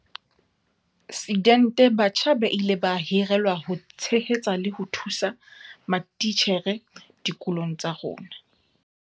Sidente batjha ba ile ba hirelwa ho tshehetsa le ho thusa matitjhere dikolong tsa rona.